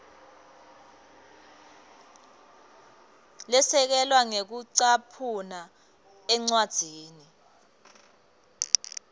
lesekelwe ngekucaphuna encwadzini